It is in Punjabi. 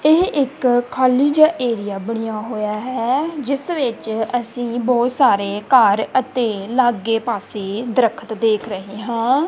ਇਹ ਇੱਕ ਖਾਲੀ ਜਿਹਾ ਏਰੀਆ ਬਣਿਆ ਹੋਇਆ ਹੈ ਜਿਸ ਵਿੱਚ ਅਸੀਂ ਬਹੁਤ ਸਾਰੇ ਘਰ ਅਤੇ ਲਾਗੇ ਪਾਸੇ ਦਰਖਤ ਦੇਖ ਰਹੇ ਹਾਂ।